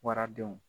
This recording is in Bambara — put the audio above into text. Waradenw